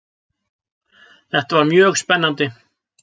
Þetta var mjög spennandi.